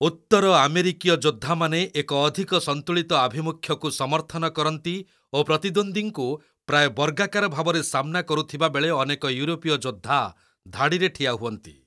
ଉତ୍ତର ଆମେରିକୀୟ ଯୋଦ୍ଧାମାନେ ଏକ ଅଧିକ ସନ୍ତୁଳିତ ଆଭିମୁଖ୍ୟକୁ ସମର୍ଥନ କରନ୍ତି ଓ ପ୍ରତିଦ୍ୱନ୍ଦ୍ୱୀଙ୍କୁ ପ୍ରାୟ ବର୍ଗାକାର ଭାବରେ ସାମ୍ନା କରୁଥିବାବେଳେ ଅନେକ ୟୁରୋପୀୟ ଯୋଦ୍ଧା ଧାଡ଼ିରେ ଠିଆ ହୁଅନ୍ତି।